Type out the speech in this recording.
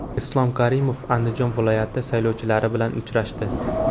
Islom Karimov Andijon viloyati saylovchilari bilan uchrashdi.